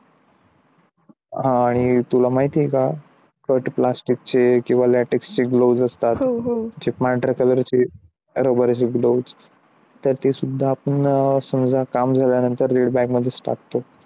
आणि तुला माहिती आहे का? cut plastic latex glows असतात पांढरा कलर चे rubber glows तर ते सुद्धा आपण काम झाल्यानंतर रेड बॅग मध्येच टाकतो.